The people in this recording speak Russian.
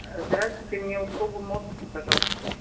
здравствуйте мне услугу мост пожалуйста